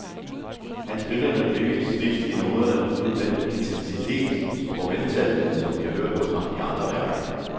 Han spillede med blikket stift i noderne, uden den intensitet og veltalenhed, som vi har hørt hos ham i andre værker.